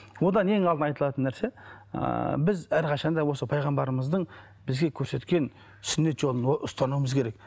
одан ең алдында айтылатын нәрсе ыыы біз әрқашан да осы пайғамбарымыздың бізге көрсеткен сүннет жолын ұстануымыз керек